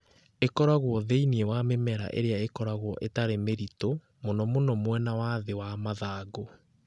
Ĩkoragwo thĩinĩ wa mĩmera ĩrĩa ĩkoragwo ĩtarĩ mĩritũ, mũno mũno mwena wa thĩ wa mathangũ.